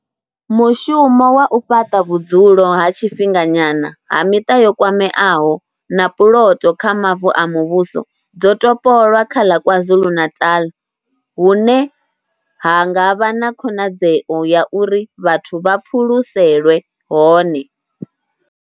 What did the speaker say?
Mushumo wa u fhaṱa vhudzulo ha tshifhinga nyana ha miṱa yo kwameaho na puloto kha mavu a muvhuso dzo topolwa kha ḽa KwaZulu-Natal hune ha nga vha na khonadzeo ya uri vhathu vha pfuluselwe hone.